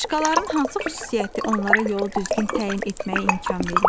Qarışqaların hansı xüsusiyyəti onlara yolu düzgün təyin etməyə imkan verir?